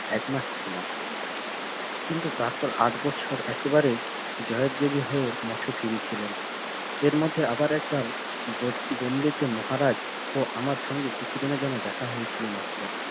এক মাস ছিলাম কিন্তু তারপর আট বছর একেবারে জয়ের মঠে ফিরেছিলাম এর মধ্যে আবার একবার তে মহারাজ অমার সঙ্গে কিছুদিনের জন্য দেখা হয়েছিল মাএ